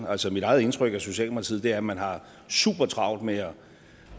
altså mit eget indtryk af socialdemokratiet er at man har supertravlt med at